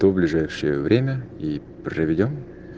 то ближайшее время и проведём